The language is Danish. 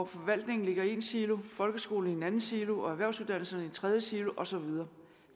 forvaltningen ligger i en silo folkeskolen i en anden silo og erhvervsuddannelserne i en tredje silo og så videre